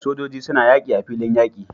Sojoji suna yaki a filin yaki